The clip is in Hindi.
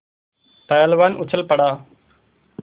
पहलवान उछल पड़ा